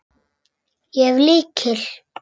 Ég hef lykil.